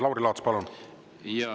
Lauri Laats, palun!